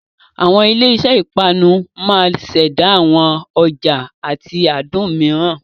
Àwọn ilé iṣẹ́ ìpanu máa ṣẹ̀dá àwọn ọ̀ja àti adùn mìíràn.